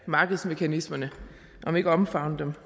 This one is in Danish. markedsmekanismerne om ikke omfavne dem